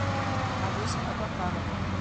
олеся абакаровна